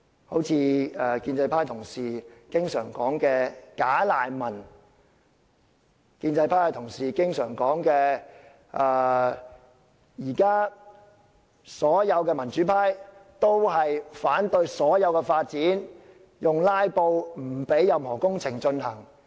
例如建制派同事經常提到的"假難民"；建制派同事又經常說，現時所有民主派均反對任何發展，以"拉布"手段阻止工程進行。